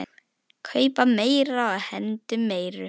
Kaupa meira og hendum meiru.